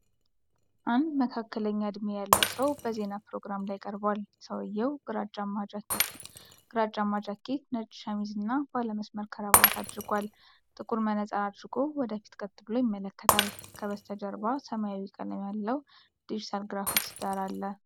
አንድ መካከለኛ እድሜ ያለው ሰው በዜና ፕሮግራም ላይ ቀርቧል። ሰውየው ግራጫማ ጃኬት፣ ነጭ ሸሚዝ እና ባለመስመር ክራባት አድርጓል። ጥቁር መነፅር አድርጎ ወደ ፊት ቀጥ ብሎ ይመለከታል። ከበስተጀርባ ሰማያዊ ቀለም ያለው ዲጂታል ግራፊክስ ዳራ አለ።